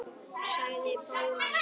sagði Bóas.